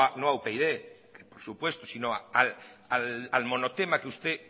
no a upyd por supuesto sino al monotema que usted